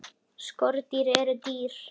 Skordýr eru dýr.